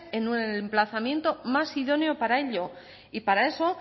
en el emplazamiento más idóneo para ello y para eso